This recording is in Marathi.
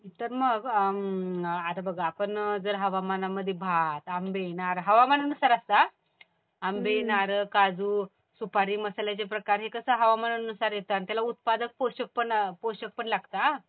तर मग आता बघ आपण जर हवामानामध्ये भात, आंबे, नारळ हवामानानुसार असतं हा. आंबे, नारळ, काजू, सुपारी, मसाल्याचे प्रकार हे कसं हवामानुसार येत आणि त्याला उत्पादक पोषक पण लागत हा.